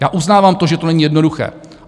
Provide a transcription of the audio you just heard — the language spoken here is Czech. Já uznávám to, že to není jednoduché.